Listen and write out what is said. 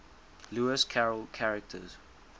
lewis carroll characters